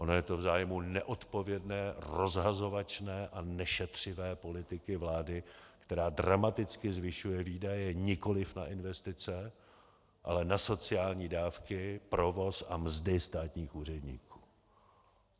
Ono je to v zájmu neodpovědné, rozhazovačné a nešetřivé politiky vlády, která dramaticky zvyšuje výdaje nikoliv na investice, ale na sociální dávky, provoz a mzdy státních úředníků.